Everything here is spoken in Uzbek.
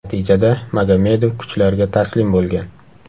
Natijada Magomadov kuchlarga taslim bo‘lgan.